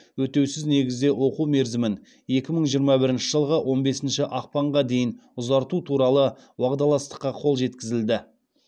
өтеусіз негізде оқу мерзімін екі мың жиырма бірінші жылғы он бесінші ақпанға дейін ұзарту туралы уағдаластыққа қол жеткізілді